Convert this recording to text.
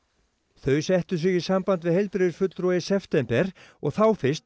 þau settu sig í samband við heilbrigðisfulltrúa í september og þá fyrst